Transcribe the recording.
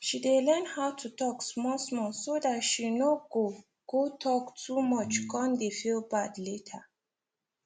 she dey learn how to talk small small so that she no go go talk too much come dey feel bad later